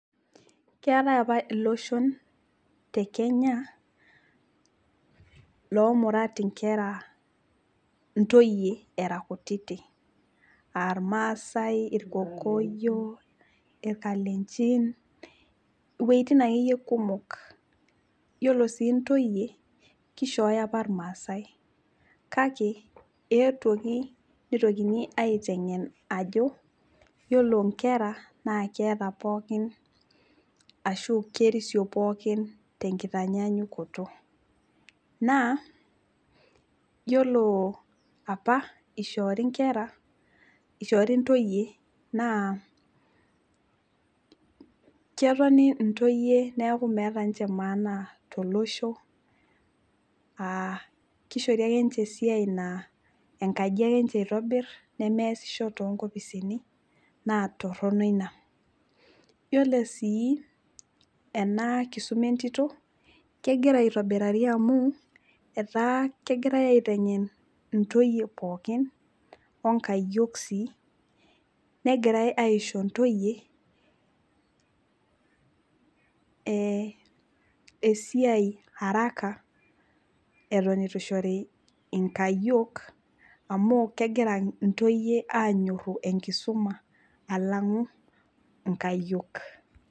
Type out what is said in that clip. Keetae apa iloshon tekenya lomurat inkera, intoyie era kutiti aa irmaasae, irkokoyo, irkalenjin wuetin akeyie kumok, yiolo sii intoyie kishooyo apa irmaasae kake eetuoki nitokini aitengen ajo yiolo nkera naa keeta pookin ashu kerisio pookin tenkitanyanyukoto. Naa yiolo apa ishoori inkera, ishoori intoyie naa ketoni intoyie niaku meeta ninche maana tolosho aa kishori akenche esiai naa enkaji ake nche itobir nemeesisho tonkopisini naa torono ina .Yiolo sii enakisuma entito naa kegira aitobirari amu etaa kegirae aitengen intoyie pookin onkayiok sii , negirae aisho ntoyie e esiai araka eton itu ishori inkayiok amu kegira amu kegira intoyie anyoru enkisuma alang'u nkayiok.